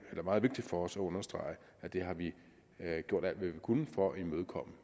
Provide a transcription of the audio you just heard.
er meget vigtigt for os at understrege at det har vi gjort alt hvad vi kunne for at imødekomme